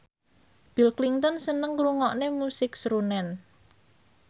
Bill Clinton seneng ngrungokne musik srunen